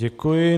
Děkuji.